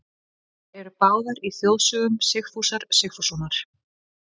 Þær eru skráðar í þjóðsögum Sigfúsar Sigfússonar.